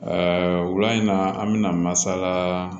wula in na an bɛna masala